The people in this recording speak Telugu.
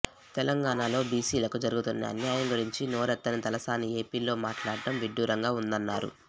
తెలంగాణలో బీసీలకు జరుగుతున్న అన్యాయం గురించి నోరెత్తని తలసాని ఏపీలో మాట్లాడడం విడ్డూరంగా ఉందన్నారు